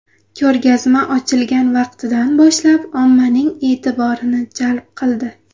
Ko‘rgazma ochilgan vaqtidan boshlab ommaning e’tiborini jalb qildi.